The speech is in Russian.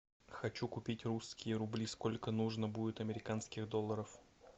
хочу купить русские рубли сколько нужно будет американских долларов